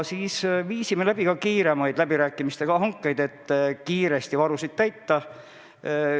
Siis viisime läbi ka kiiremad läbirääkimistega hanked, et kiiresti varusid hankida.